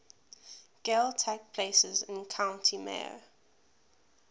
gaeltacht places in county mayo